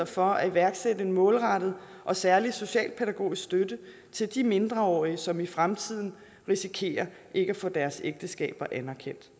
for at iværksætte en målrettet og særlig socialpædagogisk støtte til de mindreårige som i fremtiden risikerer ikke at få deres ægteskaber anerkendt